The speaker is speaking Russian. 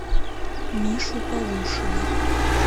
мишу полушина